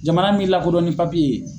Jamana mi lakodɔn ni ye.